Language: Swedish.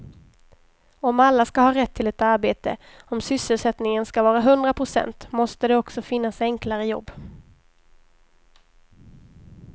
Om alla ska ha rätt till ett arbete, om sysselsättningen ska vara hundra procent måste det också finnas enklare jobb.